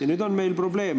Ja siin on meil probleem.